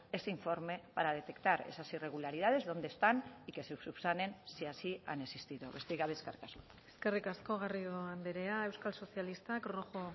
ese informe para detectar esas irregularidades donde están y que se subsanen si así han existido besterik gabe eskerrik asko eskerrik asko garrido andrea euskal sozialistak rojo